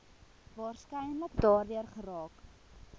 waarskynlik daardeur geraak